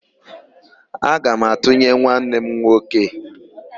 Aga m atụnyere nwanne m nwoke.